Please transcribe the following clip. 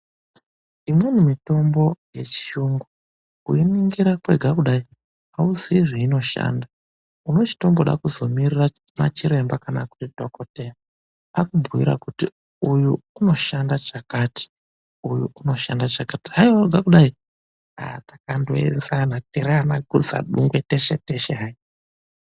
Imweni mitombo yechiyungu kuiningira kwega kudai hauziyi zveinoshanda unochitongoda kuzomirira machiremba kana kuti dhokotera akubhuyira kuti uyu unoshanda chakati uyu unoshanda chakati haiwa wega kudai takangoenzana tiri anakutsadungwe teshe teshe hai.